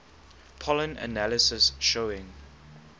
pollen analysis showing